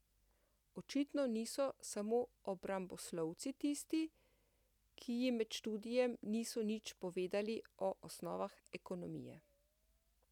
Očitno niso samo obramboslovci tisti, ki jim med študijem niso nič povedali o osnovah ekonomije.